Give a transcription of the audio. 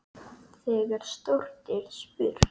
Þegar stórt er spurt.